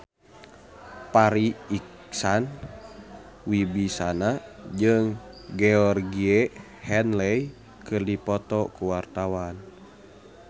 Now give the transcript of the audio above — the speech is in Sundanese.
Farri Icksan Wibisana jeung Georgie Henley keur dipoto ku wartawan